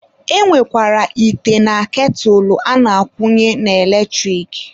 E nwekwara ite na ketụlụ a na-akwunye n'eletrik.